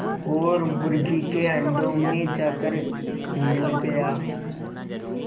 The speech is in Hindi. और मुर्गी के अंडों में जाकर मिल गया